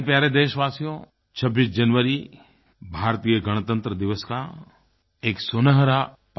मेरे प्यारे देशवासियो 26 जनवरी भारतीय गणतंत्र दिवस का एक सुनहरा पल